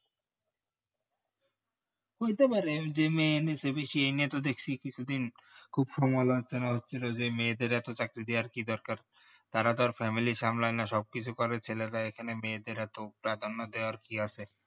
হয়তে পারে যে মেয়ে নিয়ে বেশি মেয়ে নিয়ে তো দেখছি কিছু দিন খুব সমালোচনা হচ্ছিলো যে মেয়েদের এত চাকরি দেয়ার কি দরকার তারা তার family সামলানো সব কিছু করে ছেলেরা এখানে মেয়েদের এত প্রাধান্য দেওয়ার কি আছে